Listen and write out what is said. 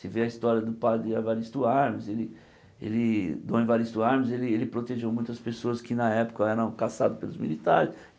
Você vê a história do padre Evaristo Armes, ele ele Dom Evaristo Armes ele ele protegeu muitas pessoas que na época eram caçadas pelos militares.